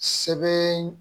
Sɛbɛn